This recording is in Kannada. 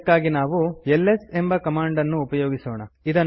ಇದಕ್ಕಾಗಿ ಎಲ್ಎಸ್ ಎಂಬ ಕಮಾಂಡ್ ಅನ್ನುಉಪಯೋಗಿಸೋಣ